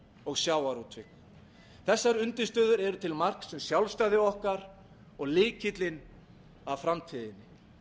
og sjávarútvegi þessar undirstöður eru til marks um sjálfstæði okkar og lykillinn að framtíðinni